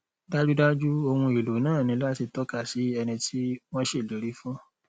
dájúdájú ohun èèlò náà ní láti tọka sí ẹni tí wọn ṣèlérí fún